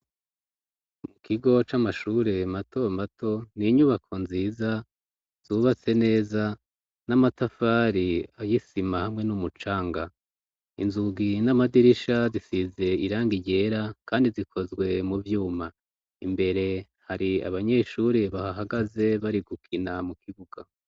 Mu kigo c'amashure matomato n'inyubako nziza zubatse neza n'amatafari y'isima hamwe n'umucanga inzugi n'amadirisha zisize iranga ryera kandi zikozwe mu vyuma imbere hari abanyeshuri bahahagaze bari gukina mu kibuga.